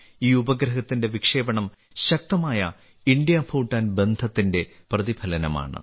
ഈ ഉപഗ്രഹത്തിന്റെ വിക്ഷേപണം ശക്തമായ ഇന്ത്യഭൂട്ടാൻ ബന്ധത്തിന്റെ പ്രതിഫലനമാണ്